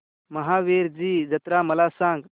महावीरजी जत्रा मला सांग